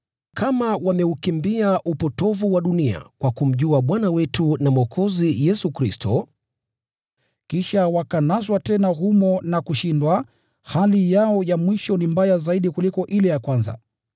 Kama wameukimbia upotovu wa dunia kwa kumjua Bwana wetu na Mwokozi Yesu Kristo, kisha wakanaswa tena humo na kushindwa, hali yao ya mwisho ni mbaya zaidi kuliko ile ya kwanza.